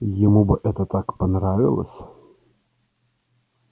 ему бы это так понравилось